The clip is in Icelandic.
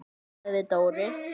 sagði Dóri.